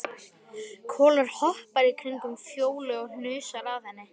Kolur hoppar í kringum Fjólu og hnusar að henni.